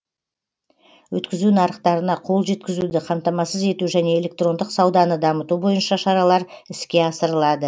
өткізу нарықтарына қол жеткізуді қамтамасыз ету және электрондық сауданы дамыту бойынша шаралар іске асырылады